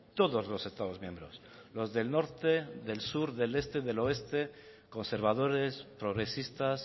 todos los estados miembros los del norte del sur del este del oeste conservadores progresistas